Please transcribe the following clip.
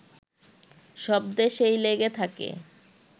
সব দেশেই লেগে থাকে